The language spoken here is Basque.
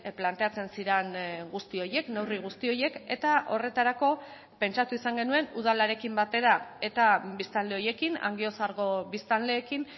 planteatzen ziren guzti horiek neurri guzti horiek eta horretarako pentsatu izan genuen udalarekin batera eta biztanle horiekin angiozargo biztanleekin